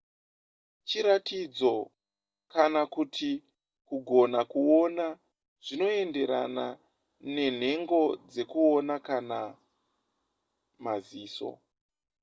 chiratidzo kana kuti kugona kuona zvinoenderarana nenhego dzekuona kana maziso